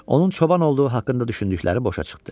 Onun çoban olduğu haqqında düşündükləri boşa çıxdı.